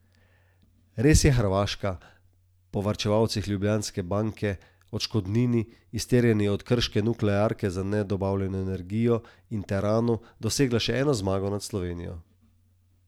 Res je Hrvaška, po varčevalcih Ljubljanske banke, odškodnini, izterjani od krške nuklearke za nedobavljeno elektriko, in teranu, dosegla še eno zmago nad Slovenijo.